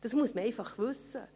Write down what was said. Das muss man einfach wissen.